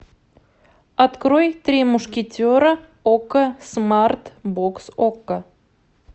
открой три мушкетера окко смарт бокс окко